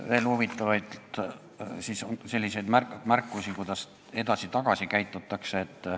Veel huvitavaid märkusi, kuidas edasi-tagasi käitutakse.